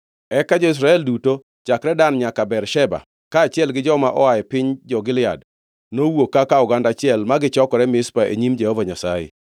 Eka jo-Israel duto chakre Dan nyaka Bersheba, kaachiel gi joma oa e piny jo-Gilead nowuok kaka oganda achiel ma gichokore Mizpa e nyim Jehova Nyasaye.